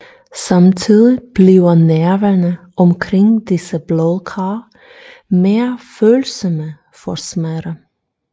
Samtidig bliver nerverne omkring disse blodkar mere følsomme for smerte